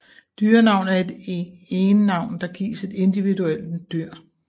Dyrenavn er et egennavn der gives et individuelt dyr